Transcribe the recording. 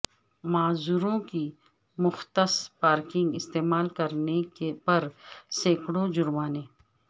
معذوروں کی مختص پارکنگ استعمال کرنے پر سینکڑوں جرمانے